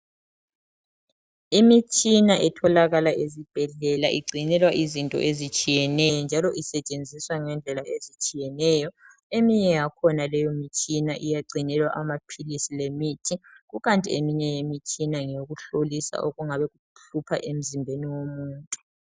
Imitshina etholakala ezibhedlela igcinelwa izinto ezitshiyeneyo njalo isetshenziswa ngendlela ezitshiyeneyo. Eminye yakhona leyo mitshina iyagcinelwa amaphilisi lemithi, kukanti eminye imitshina ngeyokuhlolisa okungabe kuhlupha emzimbeni womuntu.